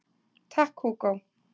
Takk Hugo